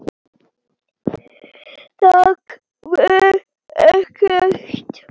Þak var ekkert.